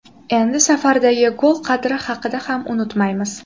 Endi safardagi gol qadri haqida ham unutmaymiz.